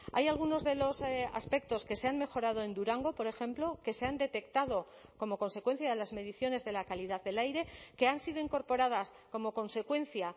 hay algunos de los aspectos que se han mejorado en durango por ejemplo que se han detectado como consecuencia de las mediciones de la calidad del aire que han sido incorporadas como consecuencia